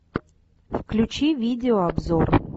включи видеообзор